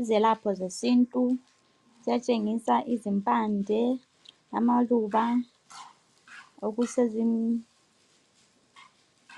Izelapho zesintu ziyatshengisa izimpande, amaluba